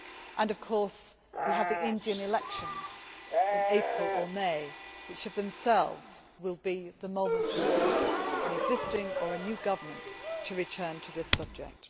Then there are the Indian elections in April or May, which of themselves will be the moment for an existing or a new government to return to this subject.